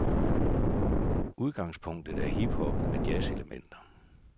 Udgangspunktet er hip hop med jazzelementer.